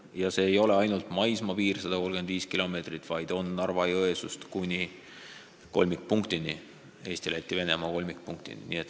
Ja see ei ole ainult maismaapiir 135 kilomeetrit, vaid on ka Narva-Jõesuust kuni Eesti, Läti ja Venemaa nn kolmikpunktini.